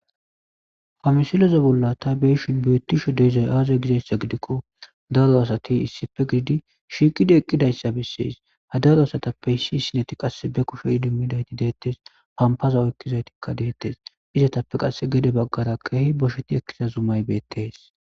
Ha misilezan bolla ta be'ashe betshe dizay aze gidays gidiko daro asati issipe gididi shiqidi ha darotazap issi asati qasi hapaza oyikidays betes izatape qasi gede bagara bosheti eqida zumay betes